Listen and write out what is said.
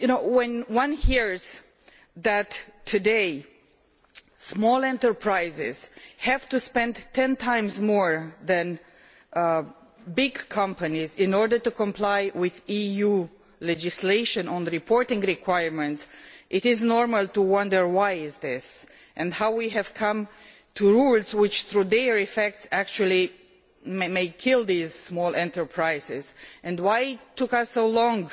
When one hears that small enterprises today have to spend 10 times more than big companies in order to comply with EU legislation on reporting requirements, it is normal to wonder why this is so and how we have come to have rules which through their effects may actually kill these small enterprises and why it has taken us so long